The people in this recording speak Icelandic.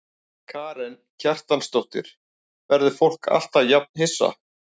Karen Kjartansdóttir: Verður fólk alltaf jafn hissa?